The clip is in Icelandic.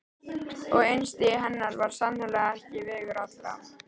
Og einstigi hennar var sannarlega ekki vegur allra.